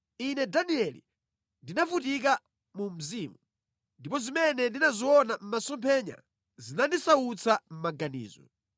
“Ine Danieli ndinavutika mu mzimu, ndipo zimene ndinaziona mʼmasomphenya zinandisautsa mʼmaganizo.